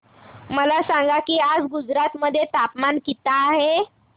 मला सांगा की आज गुजरात मध्ये तापमान किता आहे